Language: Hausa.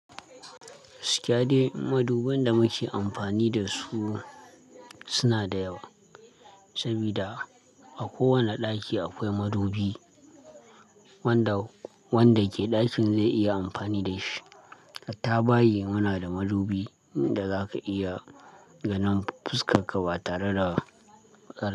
Gaskiya dai, maduban da muke amfani da su suna da yawa, sabida a kowane ɗaki akwai madubi wanda wanda ke ɗakin zai iya amfani da shi. Hatta bayi muna da madubi da zaka iya ganin fuskar ka ba tare da.